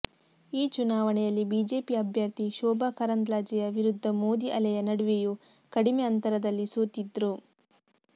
ಈ ಚುನಾವಣೆಯಲ್ಲಿ ಬಿಜೆಪಿ ಅಭ್ಯರ್ಥಿ ಶೋಭಾ ಕರಂದ್ಲಾಜೆಯ ವಿರುದ್ಧ ಮೋದಿ ಅಲೆಯ ನಡುವೆಯೂ ಕಡಿಮೆ ಅಂತರದಲ್ಲಿ ಸೋತಿದ್ರು